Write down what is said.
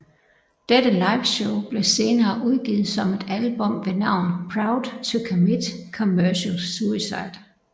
Dette liveshow blev senere udgivet som et album ved navn Proud to commit commercial suicide